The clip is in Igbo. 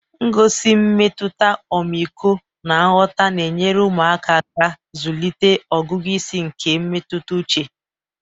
gosi mmetụta ọmịiko na nghọta na-enyere ụmụaka aka ịzụlite ọgụgụ isi nke mmetụta uche